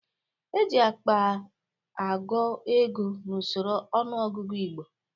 E ji akpa agụ ego n'usoro ọnụọgụgụ Igbo.